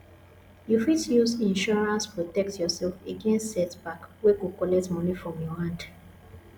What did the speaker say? you fit use insurance protect yourself against setback wey go collect money from your hand